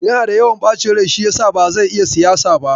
Yana da yawan ɓacin rai shi yasa ba zai iya siyasa ba.